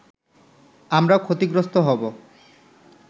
আমরা ক্ষতিগ্রস্ত হবো”